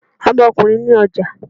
Ọmọkùnrin ni ọja.